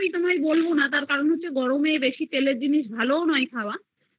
তা আমি তোমায় বলবো না কারণ গরমে বেশি তেলের জিনিস খাওয়া ভালো না